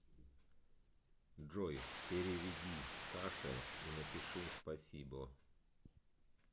джой переведи саше и напиши спасибо